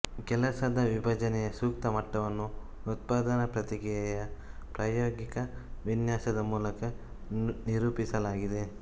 ಕೆಲಸದ ವಿಭಜನೆಯ ಸೂಕ್ತ ಮಟ್ಟವನ್ನು ಉತ್ಪಾದನಾ ಪ್ರಕ್ರಿಯೆಯ ಪ್ರಾಯೋಗಿಕ ವಿನ್ಯಾಸದ ಮೂಲಕ ನಿರೂಪಿಸಲಾಗಿದೆ